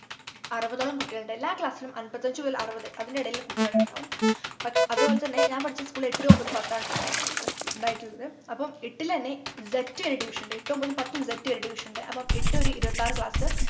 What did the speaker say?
അറുപതോളം കുട്ടികളുണ്ട് എല്ലാ class ലും അമ്പത്തഞ്ചു മുതൽ അറുപത് അതിന്റെ ഇടയിലുള്ള കുട്ടികളിണ്ടാവും പക്ഷ് അതുപോലെതന്നെ ഞാൻ പഠിച്ച school ൽ എട്ടു ഒമ്പത് പത്താണ് ട്ടോ ഉണ്ടായിരുന്നത് ഉണ്ടായിട്ടുള്ളത് അപ്പൊ എട്ടിൽ എന്നെ z വരെ division ഉണ്ട് എട്ടും ഒമ്പതും പത്തും z വരെ division ണ്ട് അപ്പൊ എട്ടു ഒരു ഇരുപത്തിയാറു class